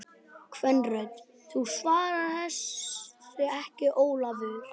Kvenrödd: Þú svarar þessu ekki Ólafur!